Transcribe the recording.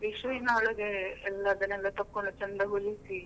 ವಿಷುವಿನ ಒಳಗೆ ಎಲ್ಲ ತಗೊಂಡು ಅದನ್ನು ಚಂದ ಹೊಲಿಸಿ.